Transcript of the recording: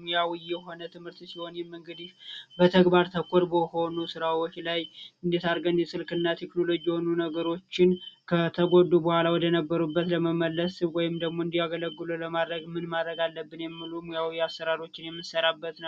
ሙያዊ የሆነ ትምህርት ሲሆን ይህም እንግዲህ ተግባር ተኮር በሆኑ ስራዎች ላይ እንደ ስልክ ቴክኖሎጂ የሆኑ ነገሮችን ከተጎዱ በኋላ ወደ ነበሩበት ለመመለስ ወይም እንዲያገለግሉ ለማድረግ ምን ማድረግ አለብን የሚለውን የምንናይበት ነው።